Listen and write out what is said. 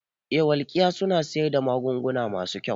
Eh welkiya suna siyar da magunguna masu kyau